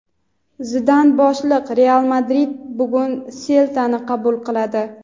Zidan boshliq "Real Madrid" bugun "Selta"ni qabul qiladi.